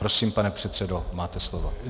Prosím, pane předsedo, máte slovo.